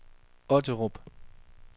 Otterup